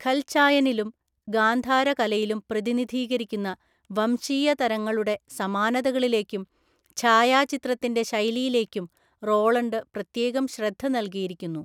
ഖൽചായനിലും ഗാന്ധാര കലയിലും പ്രതിനിധീകരിക്കുന്ന വംശീയ തരങ്ങളുടെ സമാനതകളിലേക്കും ഛായാചിത്രത്തിന്റെ ശൈലിയിലേക്കും റോളണ്ട് പ്രത്യേകം ശ്രദ്ധ നല്കിയിരിക്കുന്നു.